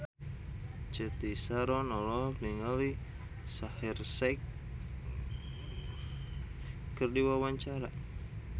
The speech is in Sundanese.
Cathy Sharon olohok ningali Shaheer Sheikh keur diwawancara